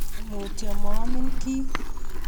mutyo maamin kiy